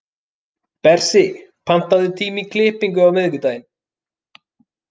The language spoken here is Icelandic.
Bersi, pantaðu tíma í klippingu á miðvikudaginn.